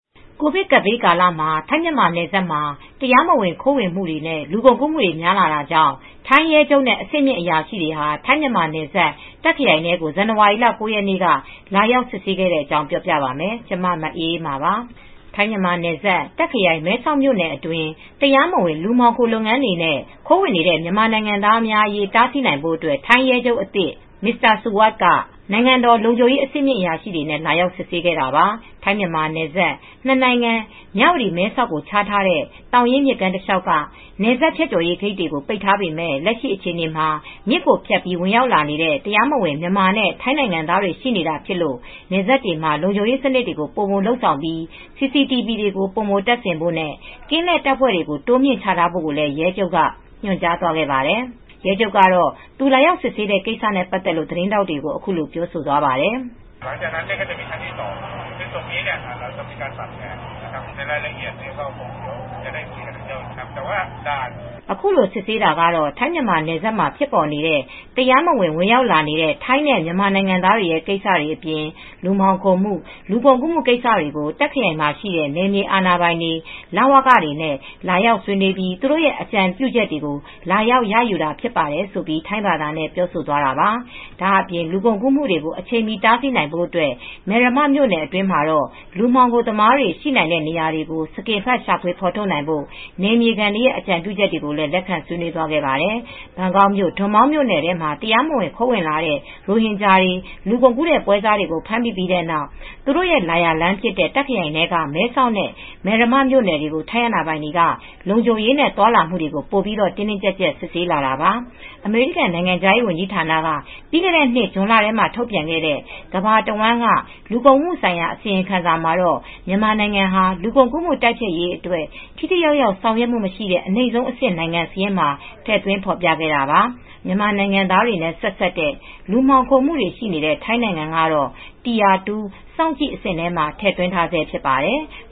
ကိုဗစ်ကပ်ဘေးကာလ ထိုင်း-မြန်မာနယ်စပ်မှာ တရားမဝင် ခိုးဝင်မှုတွေ၊ လူကုန်ကူးမှုတွေ များလာတာကြောင့် ထိုင်းရဲချုပ်နဲ့ အဆင့်မြင့်အရာရှိတွေဟာ ထိုင်း-မြန်မာနယ်စပ် တာခ့်ခရိုင်ထဲကို ဇန်နဝါရီလ ၉ ရက်နေ့က လာရောက်စစ်ဆေးခဲ့ပါတယ်။ အပြည့်အစုံကို ထိုင်းအခြေစိုက် ဗွီအိုအေမြန်မာပိုင်း သတင်းထောက် မအေးအေးမာ တင်ပြပေးထားပါတယ်။ ထိုင်း-မြန်မာနယ်စပ် တာ့ခ်ခရိုင် မဲဆောက်မြို့နယ်အတွင်း တရားမဝင် လူမှောင်ခို လုပ်ငန်းတွေနဲ့ ခိုးဝင်နေတဲ့ မြန်မာနိုင်ငံသားတွေအရေး တားဆီးဖို့အတွက် ထိုင်းရဲချုပ်အသစ် Suwat Jangyodsuk က နိုင်ငံတော်လုံခြုံရေး အဆင့်မြင့်အရာရှိတွေနဲ့ လာရောက်စစ်ဆေးခဲ့တာပါ။ ထိုင်း-မြန်မာနယ်စပ် နှစ်နိုင်ငံ မြဝတီ-မဲဆောက်ကို ခြားထားတဲ့ မိုးရေးမြစ်ကမ်းခေါ် သောင်ရင်းမြစ်တလျှောက်က နယ်စပ်ဖြတ်ကျော်ရေးဂိတ်တွေ ပိတ်ထားပေမယ့် လက်ရှိအခြေအနေမှာ မြစ်ကိုဖြတ်ပြီး ဝင်ရောက်လာနေတဲ့ တရားမဝင် မြန်မာနဲ့ ထိုင်းနိုင်ငံသားတွေ ရှိနေတာဖြစ်လို့ နယ်စပ်တွေမှာ လုံခြုံရေးစနစ်တွေကို ပိုပြီးလုပ်ဆောင်ဖို့၊ CCTV တွေ ပိုမိုတပ်ဆင်ဖို့နဲ့ ကင်းလှည့်တပ်ဖွဲ့တွေကို တိုးမြှင့်ချထားဖို့လည်း ရဲချုပ်က ညွှန်ကြားသွားခဲ့ပါတယ်။ ရဲချုပ်ကတော့ သူလာရောက်စစ်ဆေးတဲ့ ကိစ္စနဲ့ ပတ်သက်လို့ သတင်းထောက်တွေကို အခုလို ပြောသွားပါတယ်။ “အခုလို စစ်ဆေးတာက ထိုင်း-မြန်မာနယ်စပ်မှာ ဖြစ်ပေါ်နေတဲ့ တရားမဝင် ဝင်ရောက်လာတဲ့ ထိုင်းနဲ့ မြန်မာနိုင်ငံသားတွေကိစတွေ၊ လူမှောင်ခိုမှု၊ လူကုန်ကူးမှု ကိစ္စတွေကို တာ့ခ်ခရိုင်မှာရှိတဲ့ နယ်မြေအာဏာပိုင်တွေ၊ လဝကတွေနဲ့ လာရောက်ဆွေးနွေးပြီး သူတို့အကြံပြုချက်တွေကို လာရောက်ရယူတာဖြစ်ပါတယ်” ဆိုပြီး ထိုင်းဘာသာနဲ့ ပြောဆိုသွားတာပါ။ ဒါ့အပြင် လူကုန်ကူးမှုတွေ အချိန်မီတားဆီးနိုင်ဖို့ မယ်ရမမြို့နယ်အတွင်းမှာ လူမှောင်ခိုသမားတွေရှိတဲ့ နေရာတွေကို စကင်ဖတ် ရှာဖွေဖော်ထုတ်နိုင်ဖို့ နယ်မြေခံတွေရဲ့ အကြံပြုချက်တွေကိုလည်း လက်ခံဆွေးနွေးသွားခဲ့ပါတယ်။ ဘန်ကောက်မြို့ ဒွန်မောင်းမြို့နယ်ထဲမှာ တရားမဝင် ခိုးဝင်လာတဲ့ ရိုဟင်ဂျာတွေ လူကုန်ကူးတဲ့ ပွဲစားကို ဖမ်းမိပြီးနောက်ပိုင်း သူတို့လာရာလမ်းဖြစ်တဲ့ တာ့ခ်ခရိုင်ထဲက မဲဆောက်နဲ့ မယ်ရမမြို့နယ်တွေကို ထိုင်းအာဏာပိုင်တွေက လုံခြုံရေးနဲ့ သွားလာမှုတွေကို ပိုပြီး တင်းတင်းကျပ်ကျပ် စစ်ဆေးလာတာပါ။ အမေရိကန် နိုင်ငံခြားရေးဝန်ကြီးဌာနက ပြီးခဲ့တဲ့နှစ် ဇွန်လထဲမှာ ထုတ်ပြန်ခဲ့တဲ့ ကမ္ဘာတဝန်းက လူကုန်ကူးမှုဆိုင်ရာ အစီရင်ခံစာမှာတော့ မြန်မာနိုင်ငံဟာ လူကုန်ကူးမှု တိုက်ဖျက်ရေးအတွက် ထိထိရောက်ရောက် ဆောင်ရွက်မှုမရှိတဲ့ အနိမ့်ဆုံးအဆင့် နိုင်ငံစာရင်းမှာ ထည့်သွင်းဖော်ပြခဲ့တာပါ။ မြန်မာနိုင်ငံသားတွေနဲ့ ဆက်စပ်တဲ့ လူမှောင်ခိုမှုတွေရှိနေတဲ့ ထိုင်းနိုင်ငံကတော့ tire 2 စောင့်ကြည့်အဆင့်မှာ ထည့်သွင်းထားဆဲ ဖြစ်ပါတယ်။